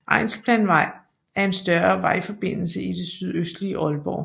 Egnsplanvej er en større vejforbindelse i det sydøstlige Aalborg